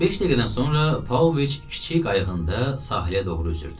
Beş dəqiqədən sonra Pauloviç kiçik qayığında sahilə doğru üzürdü.